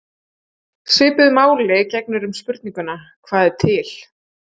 Svipuðu máli gegnir um spurninguna: Hvað er til?